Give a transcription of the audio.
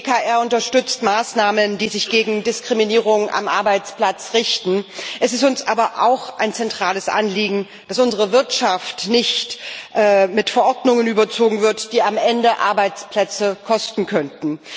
Die EKR unterstützt Maßnahmen, die sich gegen Diskriminierung am Arbeitsplatz richten. Es ist uns aber auch ein zentrales Anliegen, dass unsere Wirtschaft nicht mit Verordnungen überzogen wird, die am Ende Arbeitsplätze kosten könnten.